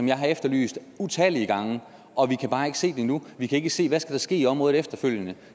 jeg har efterlyst utallige gange og vi kan bare ikke se den endnu vi kan ikke se hvad der skal ske i området efterfølgende